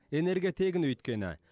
энергия тегін өйткені